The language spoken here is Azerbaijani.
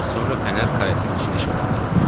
Bir az sonra fənər karetin içini işıqlandırdı.